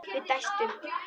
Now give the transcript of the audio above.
Við dæstum.